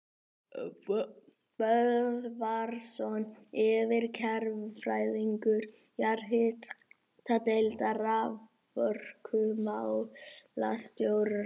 Böðvarsson yfirverkfræðingur jarðhitadeildar raforkumálastjóra.